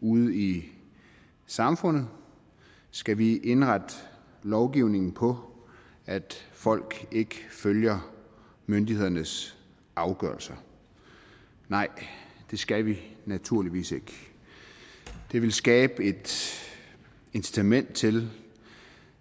ude i samfundet skal vi indrette lovgivningen på at folk ikke følger myndighedernes afgørelser nej det skal vi naturligvis ikke det ville skabe et incitament til